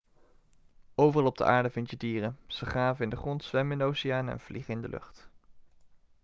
overal op aarde vind je dieren ze graven in de grond zwemmen in de oceanen en vliegen in de lucht